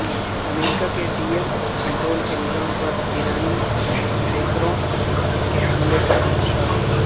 امریکہ کے dam control کے نظام پر ایرانی ہیکروں کے حملے کا انکشاف